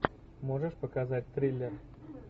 можешь показать триллер